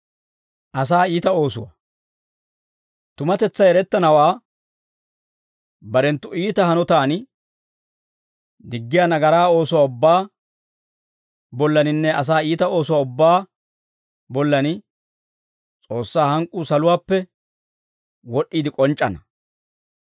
Tumatetsay erettanawaa barenttu iita hanotaan diggiyaa nagaraa oosuwaa ubbaa bollaninne asaa iita oosuwaa ubbaa bollan, S'oossaa hank'k'uu saluwaappe wod'd'iide k'onc'c'ana.